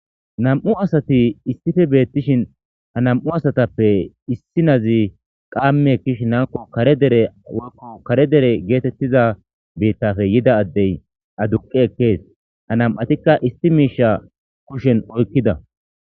nam7u asati issife beettishin ha nam7u asatappe issi nazi qaamme kish nanko kare dere woykko kare dere geetettiza beittafe yida addey aduqi ekkees ha nam7atikka issi miisha kushen oykkida